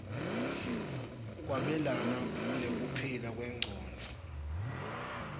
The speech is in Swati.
kwabelana nekuphila kwengcondvo